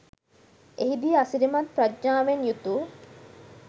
එහිදී අසිරිමත් ප්‍රඥාවෙන් යුතු